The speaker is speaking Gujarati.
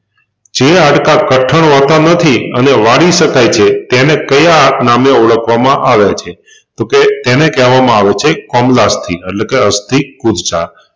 જે હાડકાં કઠણ હોતા નથી અને વાળી શકાય છે તેને કયા નામે ઓળખવામાં આવે છે તોકે તેને કેહવામાં આવે છે કોમલાસ્થિ અટલેકે અસ્થિ કુરચા